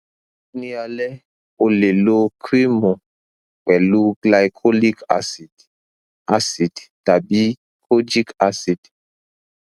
ni alẹ o le lo kremu pẹlu glycolic acid acid tabi kojic acid